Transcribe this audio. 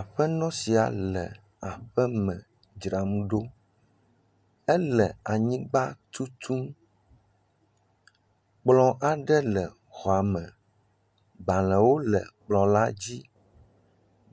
Aƒenɔ sia le aƒeme dzram ɖo. Ele anyigba tutum. Kplɔ aɖe le xɔa me. Gbalẽ le xɔ la dzi.